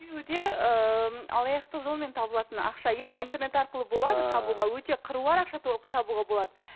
екеуі де ыыы алаяқтық жолымен табылатын ақша иә интернет арқылы болады табуға өте қыруар ақша табуға болады